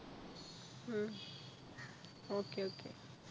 ഉം okay okay